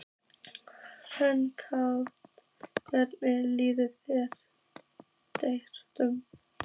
Höskuldur Kári: Hvernig líður drengnum?